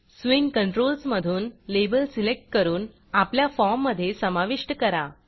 swing Controlsस्विंग controls मधून label select करून आपल्या फॉर्ममधे समाविष्ट करा